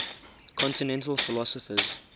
continental philosophers